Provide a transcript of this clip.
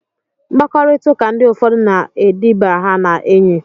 Mkpakọrita ndi ụfọdu na ediba ha na enyi.